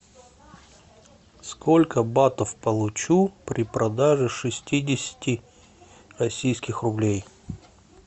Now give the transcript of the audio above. сколько батов получу при продаже шестидесяти российских рублей